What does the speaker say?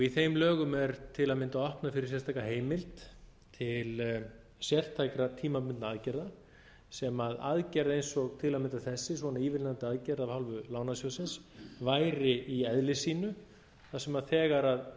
í þeim lögum er til að mynda opnað fyrir sérstaka heimild til sértækra tímabundinna aðgerð sem aðgerð eins og til að mynda þessi svona ívilnandi aðgerð af hálfu lánasjóðsins væri í eðli sínu þar sem þegar